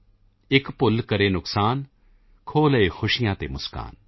ਇੱਕ ਭੁੱਲ ਕਰੇ ਨੁਕਸਾਨ ਖੋਹ ਲਏ ਖੁਸ਼ੀਆਂ ਅਤੇ ਮੁਸਕਾਨ